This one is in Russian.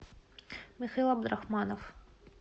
михаил абдурахманов